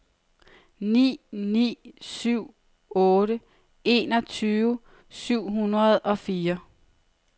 ni ni syv otte enogtyve syv hundrede og fire